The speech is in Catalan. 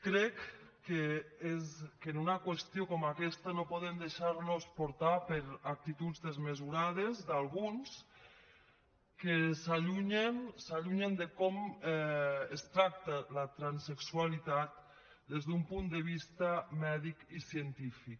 crec que en una qüestió com aquesta no podem deixar nos portar per actituds desmesurades d’alguns que s’allunyen de com es tracta la transsexualitat des d’un punt de vista mèdic i científic